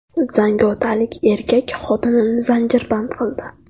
Zangiotalik erkak xotinini zanjirband qildi.